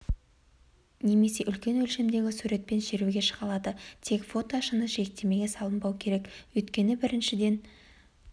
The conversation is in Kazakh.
немесе үлкен өлшемдегі суретпен шеруге шыға алады тек фото шыны жиектемеге салынбауы керек өйткені біріншіден